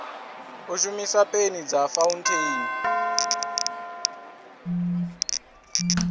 u shumisa peni dza fauntheini